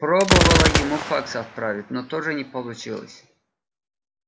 пробовала ему факс отправить но тоже не получилось